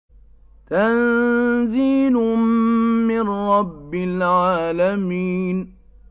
تَنزِيلٌ مِّن رَّبِّ الْعَالَمِينَ